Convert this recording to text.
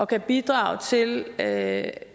kan bidrage til at